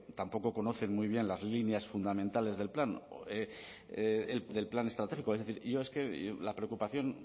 tampoco conocen muy bien las líneas fundamentales del plan estratégico es decir la preocupación